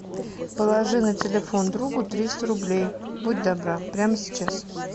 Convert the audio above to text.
положи на телефон другу триста рублей будь добра прямо сейчас